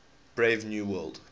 brave new world